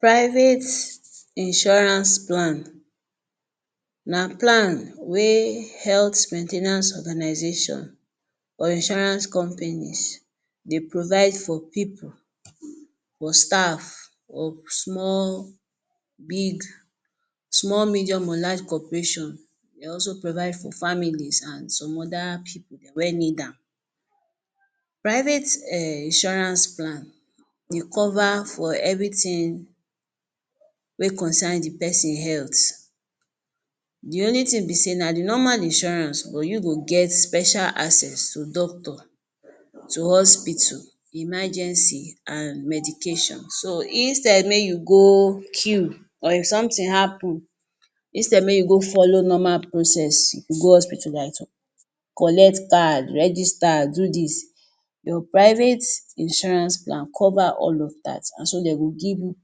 Private insurance plan na plan wey health main ten ance organization or insurance companies dey provide for pipul for staff, small medium or large cooperation e dey also provide for family and some oda pipul wey need am. Private insurance plan dey cover everytin wey cocern the person health. The only tin be sey na the normal insurance but you go get special access to doctor, to hospital, emergency and medication instead make you go que or if somtin happen, instead make you go follow normal process if you…? collect card, register do dis, your private insurance plan cover all dat so dem go give you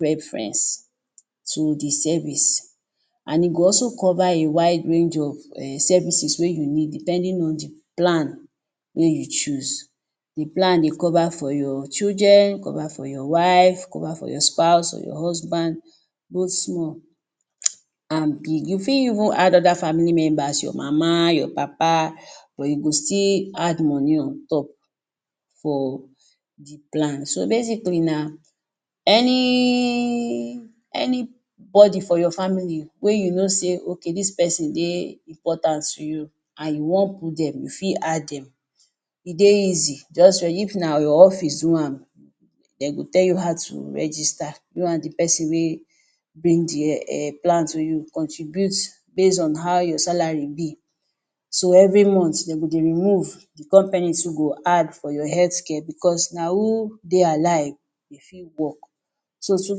reference to the service and e go also cover wide range of services wey you need depending on plan wey you choose. The plan dey cover for your children for your wife, cover for your husband your spouse both small and big, you fit even add oda family member, your mama your papa but you go still add moni on top for the plan. Basically any body for your family wey you no sey dis pesin dey important to you and you wan put dem you fit add dem e dey easy if na your office do am de go tell you how to register you and the pesin wey bring the plan for you base on how your salary be so every month dem go dey remove, the company self go dey add for your health care so na who dey alive go fit work so th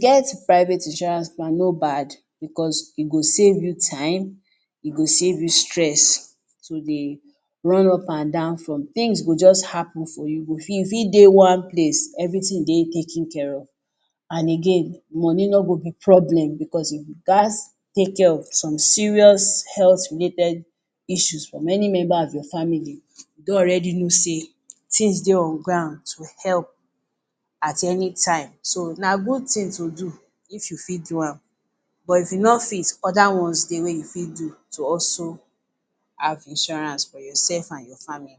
get private insurance plan no bad, e go save you time, e go safe you stress to dey run up and down for tins go just happen for you. You fit dey one place every tin dey taken care of and again moni no go be problem for you because………….? Take care of some serious health related issue. Many member of your family don no sey tins dey on ground to help at any time. So na good tin to do if you fit do am but if you no fit do am oda ones dey to also have insurance for your sef and your family.